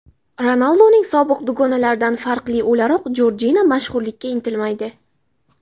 Ronalduning sobiq dugonalaridan farqli o‘laroq, Jorjina mashhurlikka intilmaydi.